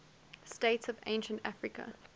states of ancient africa